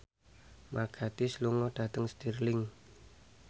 Mark Gatiss lunga dhateng Stirling